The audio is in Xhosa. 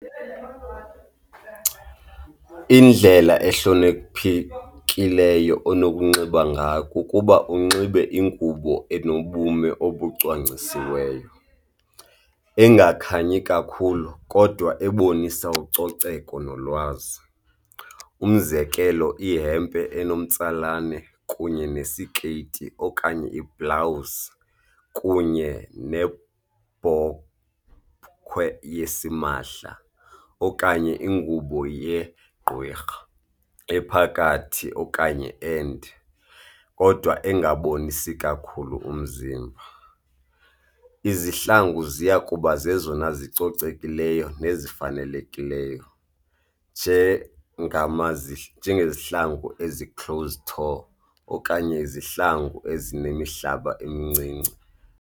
Indlela ehloniphekileyo onokunxiba ngayo kukuba unxibe ingubo enobume obucwangcisiweyo, engakhanyi kakhulu kodwa ebonisa ucoceko nolwazi. Umzekelo, ihempe enomtsalane kunye nesikeyiti okanye iblawuzi kunye nebhokhwe yesimahla okanye ingubo yegqwirha, ephakathi okanye ende kodwa engabonisi kakhulu umzimba. Izihlangu ziya kuba zezona zicocekeleyo nezifanelekileyo njengama ngezihlangu ezi-close tour okanye izihlangu ezinemihlaba emncinci.